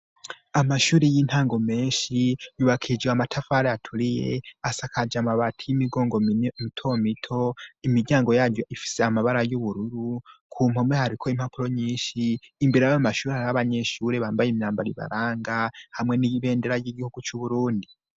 Amashuri y'intango menshi yubakijwe amatafari aturiye ,asakaje amabati y'imigongo mito mito, imiryango yayo ifise amabara y'ubururu, ku mpome hariko impapuro nyinshi, imbere yayo mashuri har 'abanyeshuri bambaye imyambaro ibaranga ,hamwe n'ibendera ry'igihugu c' uburundi.